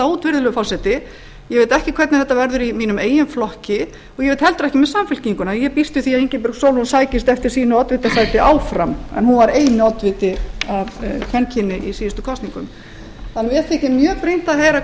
út virðulegur forseti ég veit ekki hvernig þetta verður í mínum eigin flokki og ég veit heldur ekki að samfylkinguna ég býst við því að ingibjörg sólrún sækist eftir sínu oddvitasæti áfram en hún var eini oddviti af kvenkyni í síðustu kosningum mér þykir mjög brýnt að heyra hvað